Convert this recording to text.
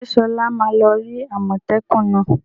Ṣé Sola ma lọ rí àmọ́tẹ́kùn náà?